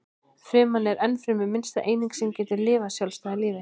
Fruman er ennfremur minnsta eining sem getur lifað sjálfstæðu lífi.